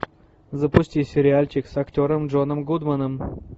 запусти сериальчик с актером джоном гудманом